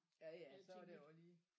Ja ja så er det også lige